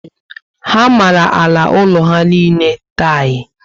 Ha mara àlà úlọ ha niile tiyi